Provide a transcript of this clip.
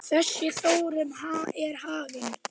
Þessi þróun er hafin.